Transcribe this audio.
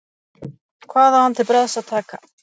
Hvað á hann til bragðs að taka?